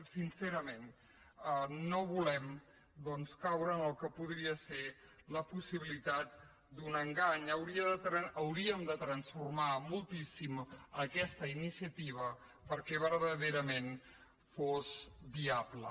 sincerament no volem caure en el que podria ser la possibilitat d’un engany hauríem de transformar moltíssim aquesta iniciativa perquè verdaderament fos viable